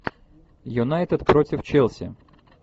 юнайтед против челси